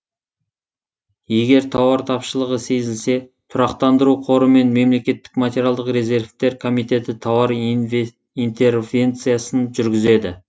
егер тауар тапшылығы сезілсе тұрақтандыру қоры мен мемлекеттік материалдық резервтер комитеті тауар интервенциясын жүргізеді